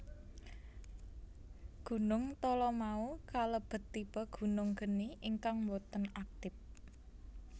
Gunung Talamau kalebet tipe gunung geni ingkang boten aktip